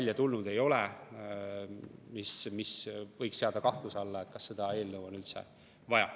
mis võiks seada kahtluse alla, kas seda eelnõu on üldse vaja.